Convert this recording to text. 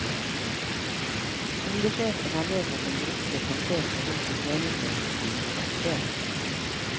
Skolesjefen har nedsatt en gruppe som ser på hvilke tjenester som kan privatiseres.